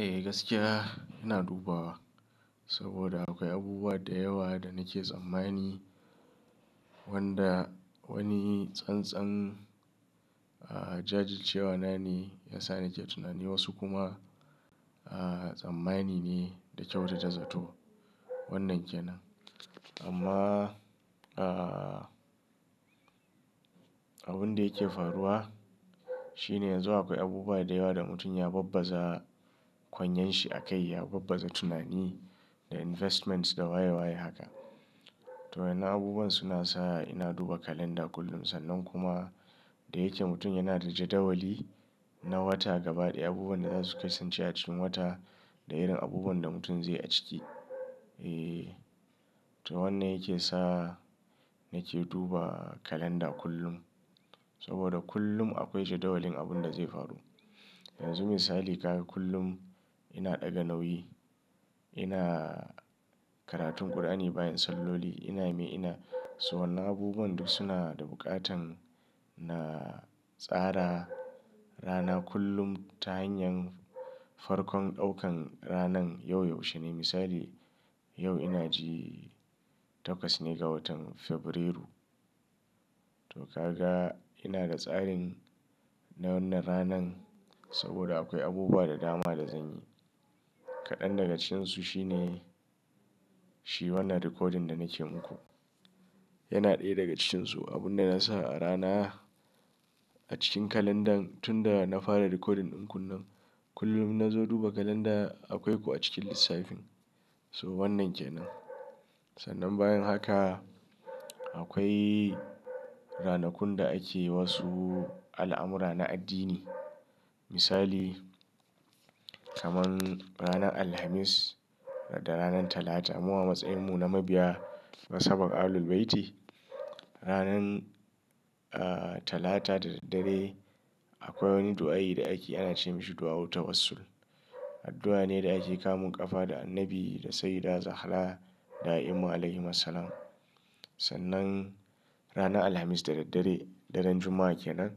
Eh gaskiya ina dubawa, saboda akwai abubuwa da yawa da nake tsammani wanda wani tsantsan jajircewa na ne ya sa nake tunani wasu kuma tsammani ne da kyautata zato. Wannan ke nan. Amma abin da yake faruwa, shine yanzu akwai abubuwa da yawa da mutum ya babbaza kanyen shi a kai ya babbaza tunani da investments da waya waya haka. To wannan abubuwan suna sa ina duba kalanda kullum. Sannan kuma da yake mutum yana da jadawali na wata gabaɗaya abubuwan da za su kasance a cikin wata da irin abubuwan da mutum zai a ciki. Eeee to wannan yake sa nake duba kalandar kullum saboda kullum akwai jadawalin abun da zai faru. Yanzu misali ka ga kullum ina ɗaga nauyi ina karatun Kur'ani bayan salloli ina mai ina. So wannan abubuwan duk suna da buƙatan na tsara rana kullum ta hanyar farkon ɗaukan ranan yau yaushe ne misali yau ina ji takwas ne ga watan Fabrairu. To ka ga ina da tsarin na wannan ranan saboda akwai abubuwa da dama da zan yi. Kaɗan daga cikin su shine shi wannan recording da nake muku. Yana ɗaya daga cikin su abun da na sa a rana a cikin kalandan, tunda na fara recording ɗin ku nan, kullum in na zo duba kalanda, akwai ku a cikin lissafin. So wannan ke nan. Sannan bayan haka, akwai ranakun da ake wasu al'amura na addini. Misali kaman ranan Alhamis da ranan Talata mu a matsayin mu na mabiya nasaban Ahlul-Bayti, Ranan Talata da daddare akwai wani du'a'i da ake ana ce mashi du'a'u tawassul. Addu'a ne da ake kamun ƙafa da Annabi da Sayyida Zahra da'ima Alaihimassalam. Sannan ranan Alhamis da daddare daren Juma'a ke nan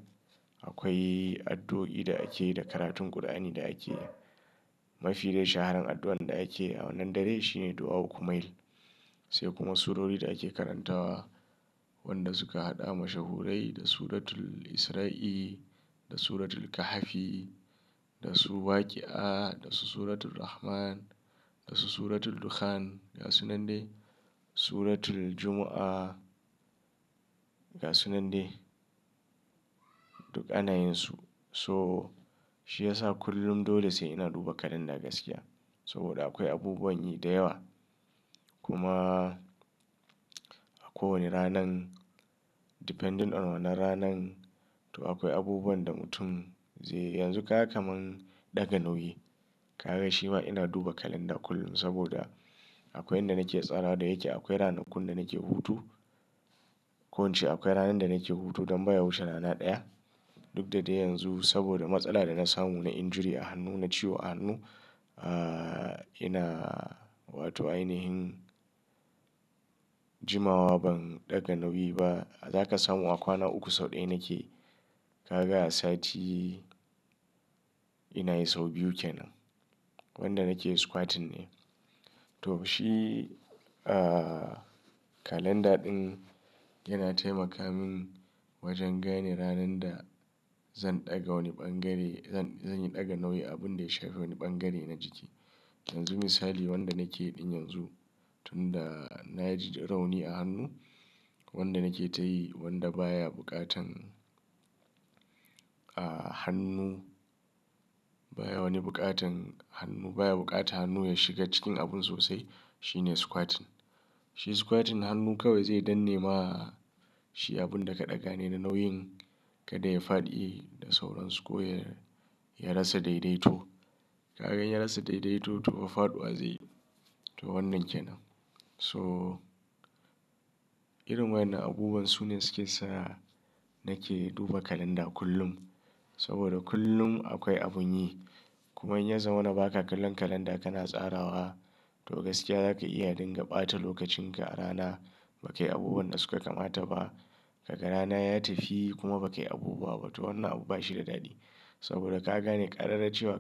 akwai addu'o'i da ake da karatun Kur'ani da ake. Mafi dai shaharar addu'an da ake a wannan dare shi ne du'a'u kumail. Sai kuma surori da ake karantawa wanda suka haɗa mashahurai da Suratul Isra'i da Suratul Kahafi da Su waqi'a da su Suratul Rahman da su Suratul Dukhan ga su nan dai Suratul Juma'a ga su nan dai duk anayin su. So shi ya sa kullum dole sai ina duba kalanda gaskiya saboda akwai abubuwan yi da yawa. Kuma a kowane ranan depending on wannan ranan to akwai abubuwan da mutum zai yanzu ka ga kamar ɗaga nauyi. Ka ga shi ma ina duba kalanda kullum saboda akwai inda nake tsara da yake akwai ranakun da nake hutu. Ko in ce akwai ranan da nake hutu don baya wuce rana ɗaya. Duk da dai yanzu saboda matsala da na samu na injury a hannu na ciwo a hannu. Aaa ina wato ainihin jimawa ban ɗaga nauyi ba. Zaka samu a kwana uku sau ɗaya nake. Ka ga a sati, ina yi sau biyu kenan. Wanda nake squatting ne. To shi kalandar ɗin yana taimaka min wajen gane ranan da zan ɗaga wani ɓangare zan yi ɗaga nauyi abun da ya shafi wani ɓangare na jiki. Yanzu misali wanda nake yi ɗin yanzu tun da na ji rauni a hannu wanda nake tayi wanda baya buƙatan hannu baya wani buƙatan hannu baya buƙatan hannu ya shiga cikin abun sosai shine squatting. Shi squatting hannu kawai zai danne ma shi abun da ka ɗaga ne nauyin kada ya fadi da sauran su ko ya rasa daidaito. Ka gan ya rasa daidaito to fa faɗuwa zai yi. To wannan ke nan. So irin wannan abubuwan su ne suke sa nake duba kalanda kullum saboda kullum akwai abun yi. Kuma in ya zama na ba ka kallon kalanda kana tsarawa, to gaskiya zaka iya dinga ɓata lokacin ka a rana ba kai abubuwan da suka kamata ba. Ka ga rana ya tafi kuma ba kai abubuwa ba. To wannan abu ba shi da daɗi saboda ka gane ƙararrawa cewa.